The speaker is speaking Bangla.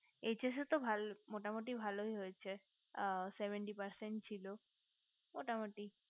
HS তো ভালোই মোটামোটি ভালোই হয়েছে seventy percent ছিল মোটামোটি